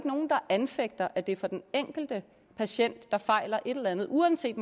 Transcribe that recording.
nogen der anfægter at det for den enkelte patient der fejler et eller andet uanset